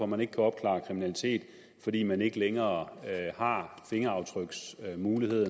man ikke kan opklare kriminalitet fordi man ikke længere har mulighed